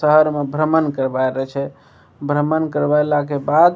शहर में भ्रमण करवाय रहे छै भ्रमण करवेला के बाद --